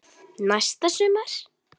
Næsta sumar?